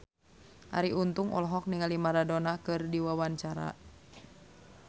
Arie Untung olohok ningali Maradona keur diwawancara